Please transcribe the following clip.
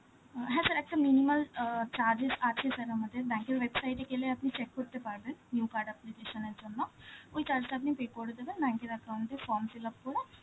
অ্যাঁ হ্যাঁ sir একটা minimal অ্যাঁ charges আছে, sir আমাদের bank এর website এ গেলে আপনি check করতে পারবেন new card application এর জন্য, ওই charge টা আপনি pay করে দেবেন, account এ form fill up করে,